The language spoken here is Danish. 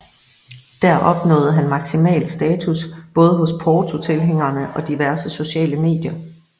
Der opnåede han maksimal status både hos Porto tilhængerne og diverse sociale medier